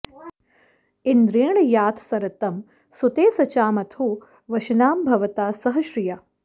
इन्द्रेण याथ सरथं सुते सचाँ अथो वशानां भवथा सह श्रिया